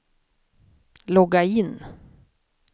logga in